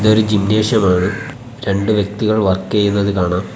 ഇതൊരു ജിംനേഷ്യമാണ് രണ്ടു വ്യക്തികൾ വർക്ക് ചെയ്യുന്നത് കാണാം.